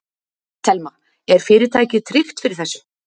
Telma: Er fyrirtækið tryggt fyrir þessu?